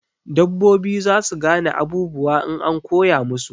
Dabbobi zasu gane abubuwa in an koya musu